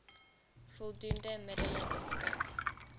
voldoende middele beskik